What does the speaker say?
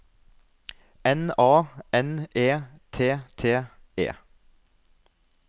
N A N E T T E